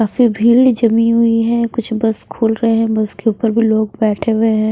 काफी भीड़ जमी हुई है कुछ बस खोल रहे हैं बस के ऊपर भी लोग बैठे हुए हैं।